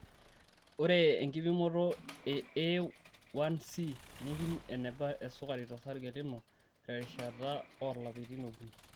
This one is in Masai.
Ore enkipimoto e A1C neipim eneba esukari tosarge lino terishata oolapaitin okuni.